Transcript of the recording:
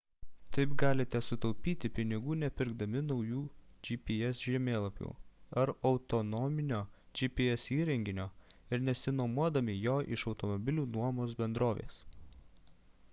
taip galite sutaupyti pinigų nepirkdami naujų gps žemėlapių ar autonominio gps įrenginio ir nesinuomodami jo iš automobilių nuomos bendrovės